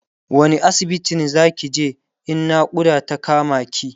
wani asibitin Zaki je in naƙuda ta kama ki?